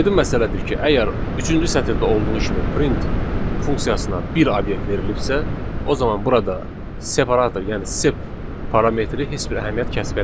Aydın məsələdir ki, əgər üçüncü sətirdə olduğu kimi print funksiyasına bir obyekt verilibsə, o zaman burada separator, yəni sep parametri heç bir əhəmiyyət kəsb eləmir.